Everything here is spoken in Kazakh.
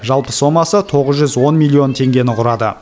жалпы сомасы тоғыз жүз он миллион теңгені құрады